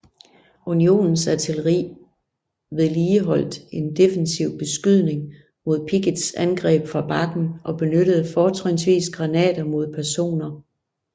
Unionens artilleri vedligeholdt en defensiv beskydning mod Picketts angreb fra bakken og benyttede fortrinsvis granater mod peroner